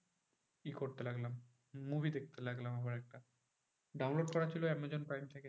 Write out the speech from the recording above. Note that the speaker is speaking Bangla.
ই করতে লাগলাম movie দেখতে লাগলাম আবার একটা। download করা ছিল আমাজন প্রাইম থেকে।